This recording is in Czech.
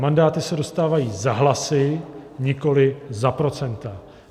Mandáty se dostávají za hlasy, nikoli za procenta.